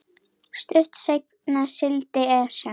Stuttu seinna sigldi Esjan